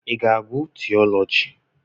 Ị ga-agụ́ tiiọlọgi?